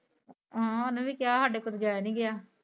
ਹਾਂ ਓਨੇ ਵੀ ਕਿਹਾ ਸਾਡੇ ਕੋਲ ਜਾਈਆ ਨੀ ਗਿਆ।